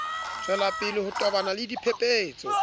tswelapele ho tobana le dipephetso